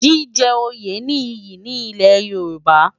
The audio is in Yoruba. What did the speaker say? Jijè óyé ni iyi ni Ilè Yoruba